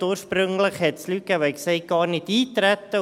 Ursprünglich gab es Leute, die sagten: «Gar nicht eintreten.»